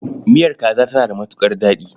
Miyar kaza tana da matuƙar daɗi.